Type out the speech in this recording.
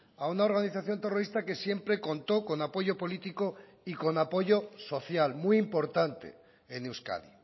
a una organización terrorista que siempre contó con apoyo político y con apoyo social muy importante en euskadi